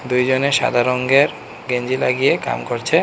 দুইজনে সাদা রঙ্গের গেঞ্জি লাগিয়ে কাম করছে।